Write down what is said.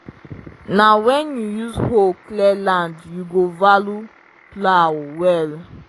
na when you use hoe clear land you go value plow well.